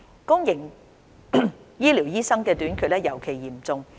公營醫療醫生短缺尤其嚴重。